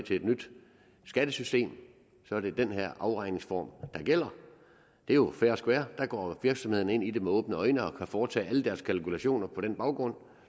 et nyt skattesystem at så er det den her afregningsform der gælder det er jo fair and square der går virksomhederne ind i det med åbne øjne og kan foretage alle deres kalkulationer på den baggrund